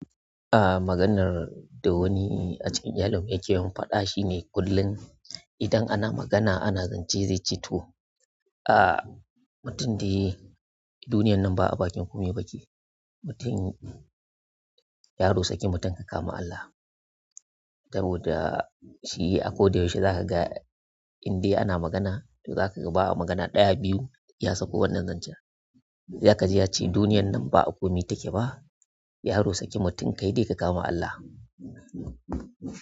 Ah, maganar da wani a cikin iyalinmu yake yi mun faɗa shine kullum idan ana magana ana zance zai ce to. Ah, mutum dai duniyar nan ba abakin komai yake mutum, yaro sake mutum ka kama Allah. Saboda shi akoda yaushe za ka ga indai ana magana, to za ka ga ba a magana ɗaya, biyu ya sako wannan zancen. Za ka ji ya ce duniyar nan ba a komi take ba. Yaro sake mutum kai dai ka kama Allah.